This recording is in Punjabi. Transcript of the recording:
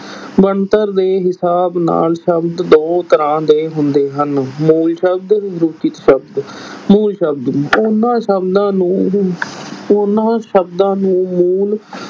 ਬਣਤਰ ਦੇ ਹਿਸਾਬ ਨਾਲ ਸ਼ਬਦ ਦੋ ਤਰ੍ਹਾਂ ਦੇ ਹੁੰਦੇ ਹਨ, ਮੂਲ ਸ਼ਬਦ ਸ਼ਬਦ, ਮੂਲ ਸ਼ਬਦ ਉਹਨਾਂ ਸ਼ਬਦਾਂ ਨੂੰ ਉਹਨਾਂ ਸ਼ਬਦਾਂ ਨੂੰ ਮੂਲ